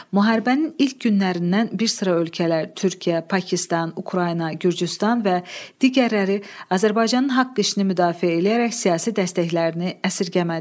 Müharibənin ilk günlərindən bir sıra ölkələr – Türkiyə, Pakistan, Ukrayna, Gürcüstan və digərləri Azərbaycanın haqq işini müdafiə eləyərək siyasi dəstəklərini əsirgəmədi.